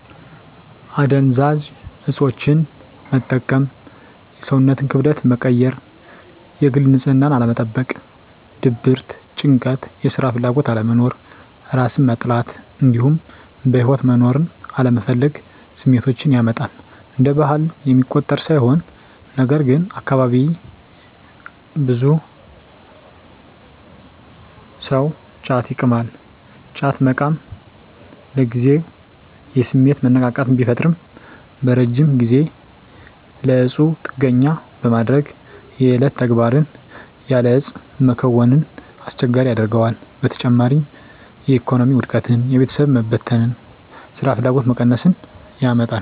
አደንዛዥ እፆችን መጠቀም የሰውነትን ክብደት መቀየር፣ የግል ንፅህናን አለመጠበቅ፣ ድብርት፣ ጭንቀት፣ የስራ ፍላጎት አለመኖር፣ እራስን መጥላት እንዲሁም በህይወት መኖርን አለመፈለግ ስሜቶችን ያመጣል። እንደ ባህል የሚቆጠር ሳይሆን ነገርግን አካባቢየ ብዙ ሰው ጫት ይቅማል። ጫት መቃም ለጊዜው የስሜት መነቃቃት ቢፈጥርም በረጅም ጊዜ ለእፁ ጥገኛ በማድረግ የዕለት ተግባርን ያለ እፁ መከወንን አስቸጋሪ ያደርገዋል። በተጨማሪም የኢኮኖሚ ውድቀትን፣ የቤተሰብ መበተን፣ ስራፍላጎት መቀነስን ያመጣል።